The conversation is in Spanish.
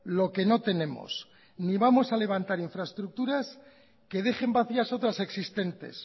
lo que no tenemos ni vamos a levantar infraestructuras que dejen vacías otras existentes